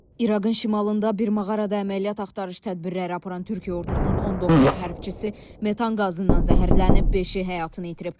İraqın şimalında bir mağarada əməliyyat axtarış tədbirləri aparan Türkiyə ordusunun 19 hərbçisi metan qazından zəhərlənib, beşi həyatını itirib.